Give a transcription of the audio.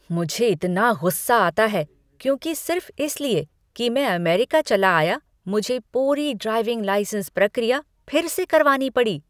मुझे इतना गुस्सा आता है क्योंकि सिर्फ़ इसलिए कि मैं अमेरिका चला आया, मुझे पूरी ड्राइविंग लाइसेंस प्रक्रिया फिर से करवानी पड़ी।